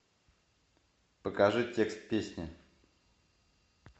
покажи текст песни